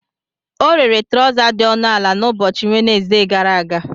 Ọ rere trọza dị ọnụ ala n'ụbọchị Wenezde gara aga.